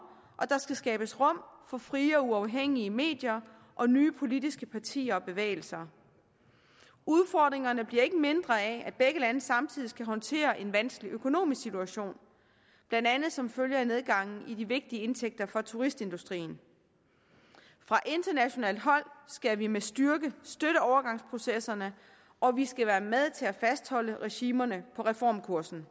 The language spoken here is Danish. og der skal skabes rum for frie og uafhængige medier og nye politiske partier og bevægelser udfordringerne bliver ikke mindre af at begge lande samtidig skal håndtere en vanskelig økonomisk situation blandt andet som følge af nedgangen i de vigtige indtægter for turistindustrien fra internationalt hold skal vi med styrke støtte overgangsprocesserne og vi skal være med til at fastholde regimerne på reformkursen